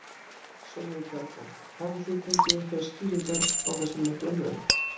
Sólveig Bergmann: Hafið þið fengið einhverjar skýringar á þessum mikla mun?